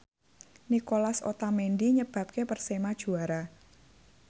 Nicolas Otamendi nyebabke Persema juara